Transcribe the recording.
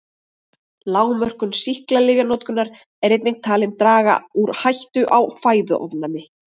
Lágmörkun sýklalyfjanotkunar er einnig talin draga úr hættu á fæðuofnæmi.